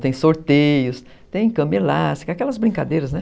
Tem sorteios, tem cama elástica , aquelas brincadeiras, né?